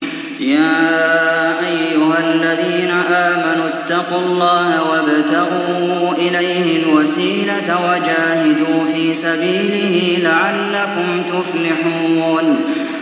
يَا أَيُّهَا الَّذِينَ آمَنُوا اتَّقُوا اللَّهَ وَابْتَغُوا إِلَيْهِ الْوَسِيلَةَ وَجَاهِدُوا فِي سَبِيلِهِ لَعَلَّكُمْ تُفْلِحُونَ